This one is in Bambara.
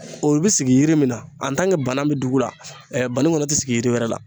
O bɛ sigi yiri min na bana bɛ dugu la bani kɔnɔ tɛ sigi yiri wɛrɛ la.